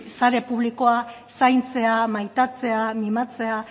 sare publikoak zaintzea maitatzea mimatzea